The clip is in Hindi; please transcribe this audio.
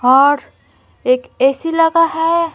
और एक एसी लगा है।